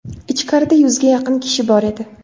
Ichkarida yuzga yaqin kishi bor edi.